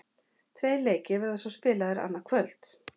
Tveir leikir verða svo spilaðir annað kvöld.